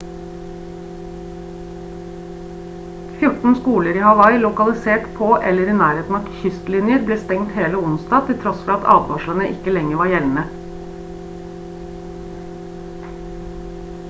14 skoler i hawaii lokalisert på eller i nærheten av kystlinjer ble stengt hele onsdag til tross for at advarslene ikke lenger var gjeldende